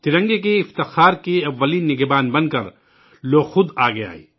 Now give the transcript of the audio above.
ترنگے کی شان کے پہلے محافظ بن کر لوگ خود آگے آئے